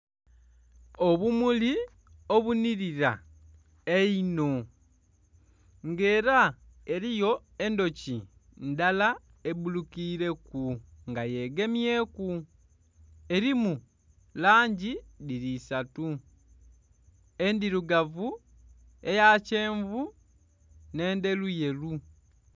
Obumuli obunirira einho nga era eriyo endhuki ndhala ebbulukire ku nga yegemye ku erimu langi dhiri isatu endhirugavu, eya kyenvu n'endheru yeru.